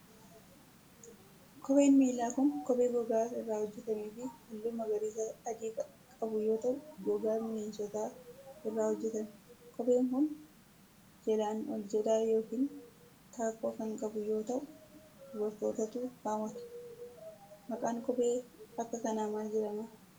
Kopheen miilaa kun, kophee gogaa irraa hojjatamee fi haalluu magariisa adii qabu yoo ta'u, gogaa bineensotaa irraa hojjatame. Kopheen kun, jalaan oljedhaa yokin taakkoo kan qabu yoo ta'u, dubartootatu kaawwata. Maqaan kophee akka kanaa maal jedhama?